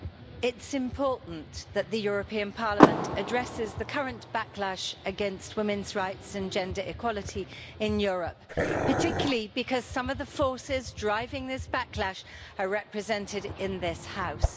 Mr President, it's important that the European Parliament addresses the current backlash against women's rights and gender equality in Europe, particularly because some of the forces driving this backlash are represented in this House.